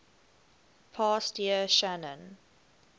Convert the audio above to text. past year shannon